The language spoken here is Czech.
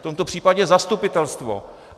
V tomto případě zastupitelstvo.